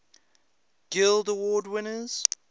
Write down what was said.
guild award winners